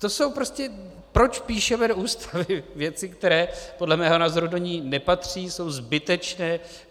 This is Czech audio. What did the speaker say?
To jsou prostě - proč píšeme do Ústavy věci, které podle mého názoru do ní nepatří, jsou zbytečné?